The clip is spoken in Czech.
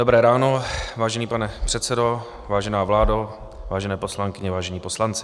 Dobré ráno, vážený pane předsedo, vážená vládo, vážené poslankyně, vážení poslanci.